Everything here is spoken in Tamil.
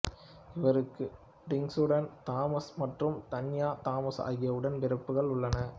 இவர்ககு டிங்சுடன் தாமசு மற்றும் தன்யா தாமசு ஆகிய உடன் பிறப்புகள் உள்ளனர்